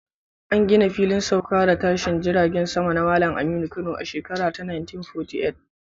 An gina Filin Sauka da Tashine Jiragen Sama na Malam Aminu Kano a shekara ta 1948